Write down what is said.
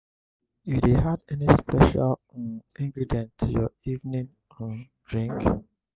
you dey add any special um ingredient to your evening um drink?